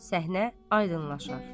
Səhnə aydınlaşar.